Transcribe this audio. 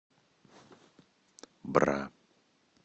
бра